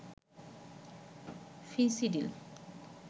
Phensedyl